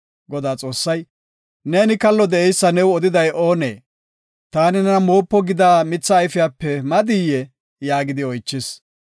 Godaa Xoossay, “Neeni kallo de7eysa new odiday oonee? Taani nena moopa gida mitha ayfepe madiyee?” yaagidi oychis.